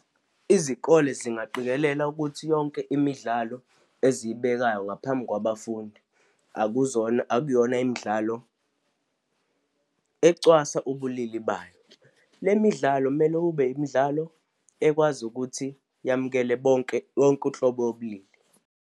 Izikole zingaqikelela ukuthi yonke imidlalo eziyibekayo ngaphambi kwabafundi akuzona, akuyona imidlalo ecwasa ubulili bayo. Le midlalo mele ube imidlalo ekwazi ukuthi yamukela bonke, yonke unhlobo yobulili.